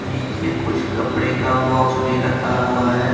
नीचे कुछ कपड़े का बॉक्स भी रखा हुआ है।